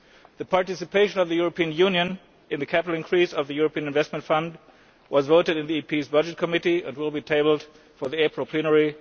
The participation of the European Union in the capital increase of the European Investment Fund was voted on in Parliamentʼs Committee on Budgets and will be tabled for the April plenary.